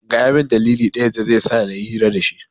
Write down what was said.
Gaya min dalili ɗaya dazai sa nayi hira dashi